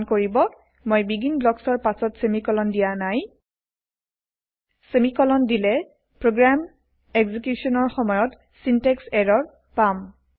মন কৰিব মই বেগিন ব্লকছৰ পাছত চেমিকলন দিয়া নাই চেমিকলন দিলে প্ৰগ্ৰেম এক্সিকিউচনৰ সময়ত চিনটেক্স ইৰৰ পাম